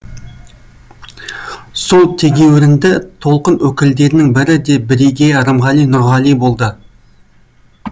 сол тегеуірінді толқын өкілдерінің бірі де бірегейі рымғали нұрғали болды